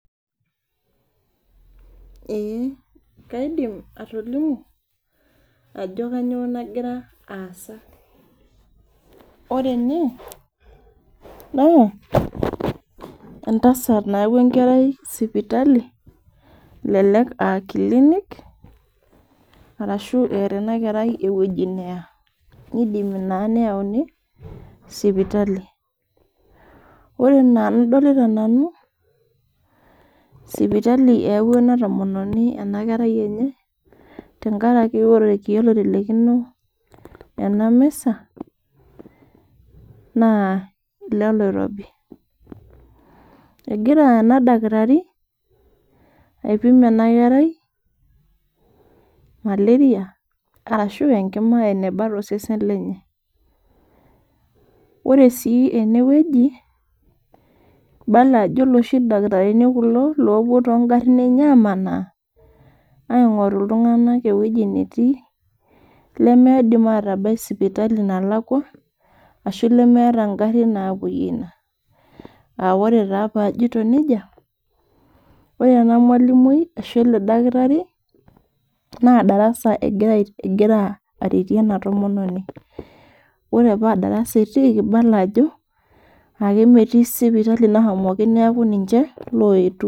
kaidim atolimu Ajo kainyio nagira asaa ore ene naa entasati nayaua enkerai sipitali elelek aa kilinik arashu etaa ena kerai ewueji neyaa nidimu naa neyauni sipitali ore enaa enadolita nanu sipitali eyaua ena tomononi enkerai enye tenkaraki ore irkeek oitelekino ena misa naa eloiloirobi egira enaa Daktari aipim ena kerai malaria ashu Enkima enabaa too sesen lenye ore sii enewueji kibala Ajo eloshi dakitarini kulo loopuo too garin enyee amanaa aing'oru iltung'ana ewueji netii limidim atabai sipitali nalakua ashu lemetaa garin napuoyie ena AA ore taa peyie ajoito nejia ore ena malimuni ashu ele dakitari naa daras egira aretii ena tomononi ore paa darasa etikii naa kibala Ajo ametie sipitali nahomoki neeku ninche oyetuo